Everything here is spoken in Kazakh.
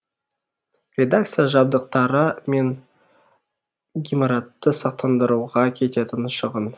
редакция жабдыктары мен гимаратты сақтандыруға кететін шығын